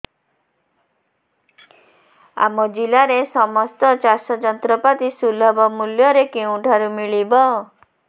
ଆମ ଜିଲ୍ଲାରେ ସମସ୍ତ ଚାଷ ଯନ୍ତ୍ରପାତି ସୁଲଭ ମୁଲ୍ଯରେ କେଉଁଠାରୁ ମିଳିବ